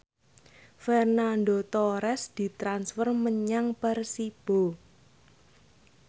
Fernando Torres ditransfer menyang Persibo